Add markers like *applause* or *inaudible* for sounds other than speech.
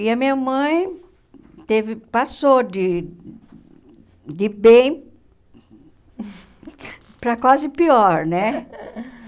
E a minha mãe teve passou de de bem *laughs* para quase pior, né? *laughs*